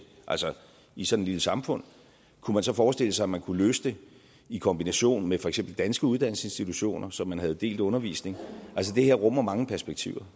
i sådan et lille samfund kunne man så forestille sig at man kunne løse det i kombination med for eksempel danske uddannelsesinstitutioner så man havde delt undervisning altså det her rummer mange perspektiver